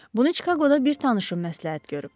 Bunu Çikaqoda bir tanışım məsləhət görüb.